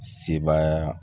Sebaaya